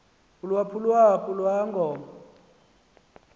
uyaphulwaphu lwa ngoba